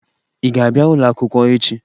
Ị ga-abịa ụlọakwụkwọ echi?